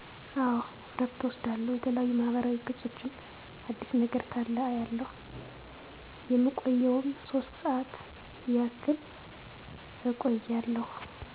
አዎ እረፍት እወስዳለሁ የተለያዩ ማህበራዊ ገፆችን አዲስ ነገር ካለ አያለሁ የምቆየዉም ሶስት ሰዓት ያክልእቆያለሁ